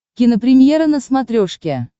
кинопремьера на смотрешке